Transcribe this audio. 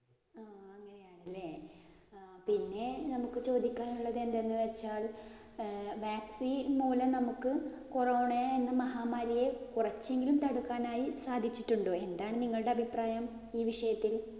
പിന്നേ പിന്നെ നമുക്ക് ചോദിക്കാന്‍ ഉള്ളത് എന്തെന്ന് വച്ചാല്‍ vaccine മൂലം നമ്മക്ക് corona എന്ന മഹാമാരിയെ കൊറച്ചെങ്കിലും തടുക്കാനായി സാധിച്ചിട്ടുണ്ടോ? എന്താണ് നിങ്ങളുടെ അഭിപ്രായം.